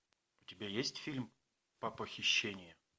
у тебя есть фильм папохищение